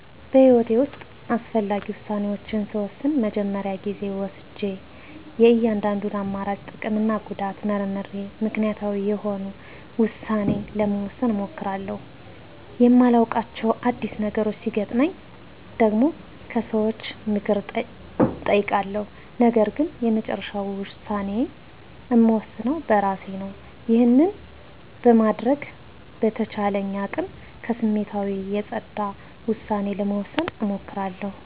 በህይወቴ ውስጥ አስፈላጊ ውሳኔዎችን ስወስን መጀመሪያ ጊዜ ወስጀ የእያንዳንዱን አማራጭ ጥቅምና ጉዳት መርምሬ ምክንያታዊ የሆነ ውሳኔ ለመወሰን እሞክራለሁ። የማላዉቃቸው አዲስ ነገሮች ሲገጥመኝ ደግሞ ከሰዎች ምክር እጠይቃለሁ ነገርግን የመጨረሻውን ውሳኔ እምወስነው በእራሴ ነው። ይህንን በማድረግ በተቻለኝ አቅም ከስሜታዊነት የፀዳ ዉሳኔ ለመወሰን እሞክራለሁ።